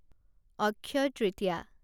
Akshaya Tritiya